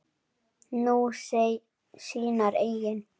Nú, sínar eigin.